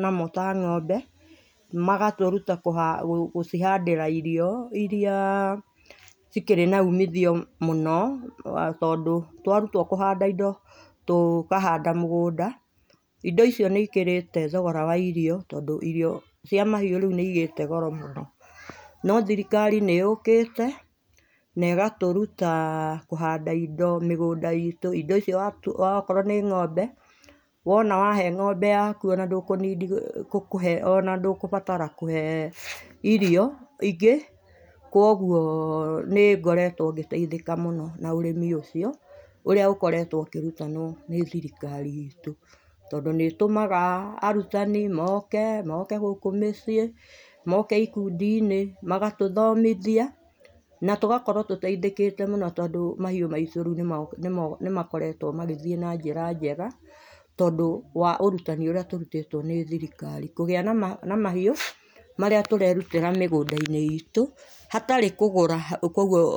namo ta ng'ombe magatũrũta gũcihandĩra irio irĩa cĩkĩrĩ na ũmithio mũno tondũ twarũtwo kũhanda indo tũkahanda mũgũnda indo icio nĩ ikĩrĩte thogora wa irio tondũ irio cia mahiũ rĩũ nĩ ĩgĩte goro mũno no thirikari nĩyũkĩte na ĩgatũrũta kũhanda indo mĩgũnda inĩ itũ indo icio akorwo nĩ ng'ombe wona wahe ng'ombe yakũ ona ndũkũnidi gũbatara kũhe irio ingĩ kũogũo nĩ ngoretwo ngĩteithika mũno na ũrĩmi ũcio ũrĩa ũkoretwo ũkĩrũtanwo nĩ thirikari itũ tondũ nĩ ĩtũmaga arũtani moke moke gũkũ mĩciĩ moke ikũndi inĩ magatũthomithia na tũgakorwo tũteĩthĩkĩte mũno tondũ mahiũ maĩtũ nĩma nĩmakoretwo magĩthiĩ na njĩra njega tondũ wa ũrũtani ũrĩa tũrũtĩtwo nĩ thirikari kũgĩa na mahiũ marĩa tũrerũtira mĩgũnda inĩ itũ hatarĩ kũgũra kũogũo.